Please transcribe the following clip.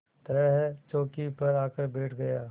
तरह चौकी पर आकर बैठ गया